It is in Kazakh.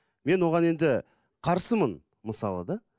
мен оған енді қарсымын мысалы да